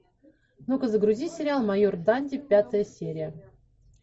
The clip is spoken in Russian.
ну ка загрузи сериал майор данди пятая серия